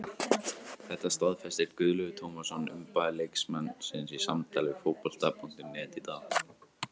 Þetta staðfesti Guðlaugur Tómasson umboðsmaður leikmannsins í samtali við Fótbolta.net í dag.